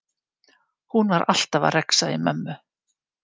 Hún var alltaf að rexa í mömmu.